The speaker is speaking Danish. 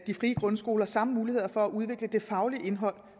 de frie grundskoler samme muligheder for at udvikle det faglige indhold